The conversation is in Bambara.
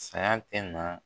Saya na